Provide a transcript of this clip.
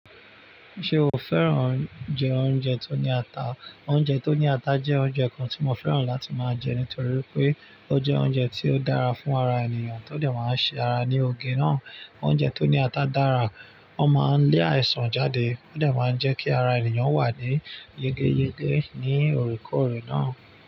Ṣé o fẹ́ràn jẹ oúnjẹ tó ní ata? Oúnjẹ tó ní ata jẹ́ oúnjẹ kan tí mo fẹ́ràn láti máa jẹ nítorí pé ó jẹ́ oúnjẹ tí ó dára fún ara ènìyàn tó dẹ̀ máa ṣe ara ní oge náà. Oúnjẹ tó ní ata dára, ó máa ń lé àìsàn jáde, ó dẹ̀ máa ń jẹ́ kí ara ènìyàn wà ní yegeyege ní oore koòrè náà.